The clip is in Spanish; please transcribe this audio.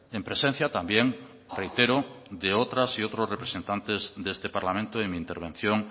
en presencia también reitero de otras y otros representantes de este parlamento de mi intervención